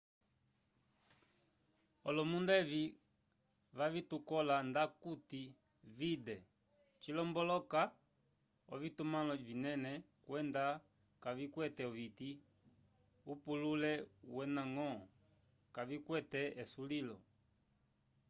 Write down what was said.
olomunda evi vavitukola ndakuti 'vidde' cilomboloka ovitumãlo vinene kwenda kavikwete oviti upulule wendañgo kavikwete esulilo